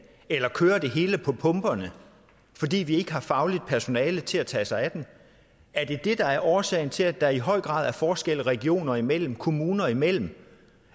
eller kører det hele på pumperne fordi vi ikke har fagligt personale til at tage sig af dem er det det der er årsagen til at der i høj grad er forskelle regioner imellem og kommuner imellem